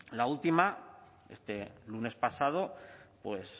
la última este lunes pasado pues